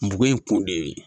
N bugu in kun de ye